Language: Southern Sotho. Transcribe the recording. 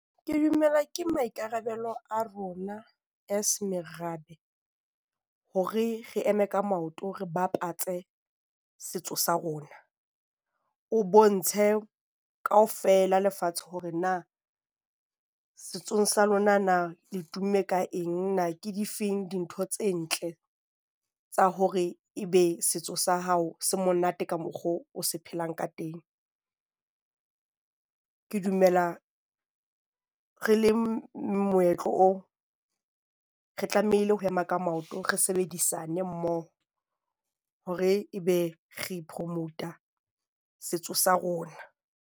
Ke dumela ke maikarabelo a rona as merabe hore re eme ka maoto, re bapatse setso sa rona. O bontshe kaofela lefatshe hore na setsong sa lona na le tumme ka eng. Na ke difeng dintho tse ntle tsa hore e be setso sa hao se monate ka mokgwa o se phelang ka teng. Ke dumela re le moetlo o re tlamehile ho ema ka maoto. Re sebedisane mmoho hore ebe re promot-a setso sa rona.